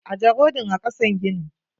Ajje rodin a kasan ginin.